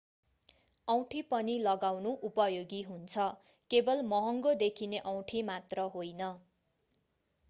औँठी पनि लगाउनु उपयोगी हुन्छ केवल महँगो देखिने औँठी मात्र होइन।